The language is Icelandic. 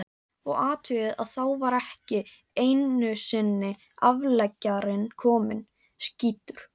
Og athugið að þá var ekki einusinni afleggjarinn kominn, skýtur